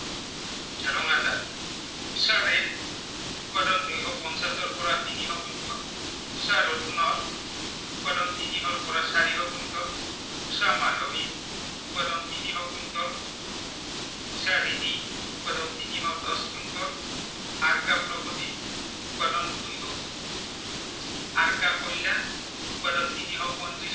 তিনিশ পয়ত্ৰিছ